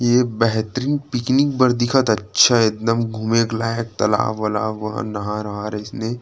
ये बेहतरीन पिकनिक बर दिखत हे अच्छा एकदम घूमे लायक तालाब वालाब व नहर अइसने --